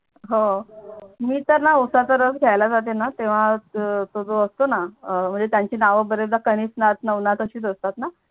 हव मी तर णा उशाचा रस घ्याला जाते णा तेव्हा तो जो असतो णा म्हणजे त्यांची नाव बरेचदा कनिशनाथ नवनाथ अशीच असते णा